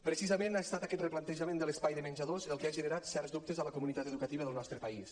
precisament ha estat aquest replantejament de l’espai de menjadors el que ha generat certs dubtes a la comunitat educativa del nostre país